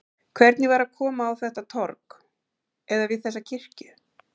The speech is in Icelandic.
Hvernig var að koma á þetta torg, eða við þessa kirkju?